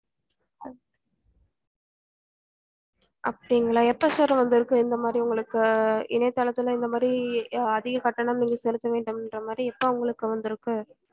அப்டிங்களா எப்போ sir வந்து இருக்கு இந்த மாரி உங்களுக்கு இணையதளத்துல இந்த மாதிரி அதிக கட்டணம் நீங்க செலுத்த வேண்டும் இன்ற மாரி எப்போ உங்களக்கு வந்து இருக்கு